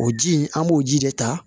O ji in an b'o ji de ta